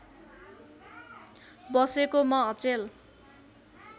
बसेको म अचेल